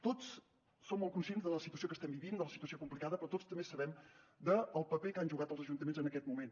tots som molt conscients de la situació que estem vivint de la situació complicada però tots també sabem el paper que han jugat els ajuntaments en aquest moment